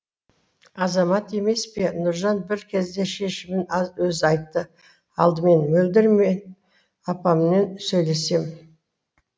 азамат емес пе нұржан бір кезде шешімін өзі айтты алдымен мөлдір мен апаммен сөйлесем